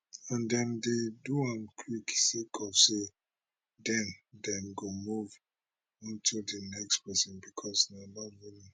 and dem dey do am quick sake of say den dem go move on to di next pesin becos na about volume